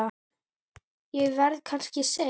Ég verð kannski seinn.